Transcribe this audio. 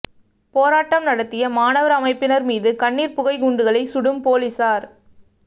போராட்டம் நடத்திய மாணவர் அமைப்பினர் மீது கண்ணீர் புகை குண்டுகளை சுடும் போலீசார்